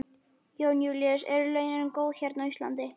Jón Júlíus: Eru launin góð hérna á Íslandi?